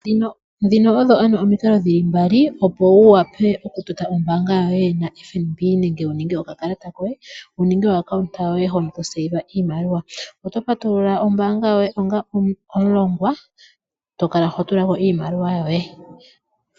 Ndhono odho ano omikalo dhi li mbali opo wu vule oku totapo ombaanga yo ye na FNB nenge wu ninge oka kalata koye. Wuninge o account yoye hono tokala to pungula iimaliwa. Oto patulula ombaanga yoye onga omulongwa eto kala ho tula ko iimaliwa yoye.